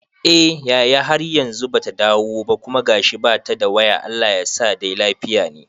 Eh yaya, har yanzu bata dawo ba kuma gashi bata da waya Allah yasa dai lafiya ne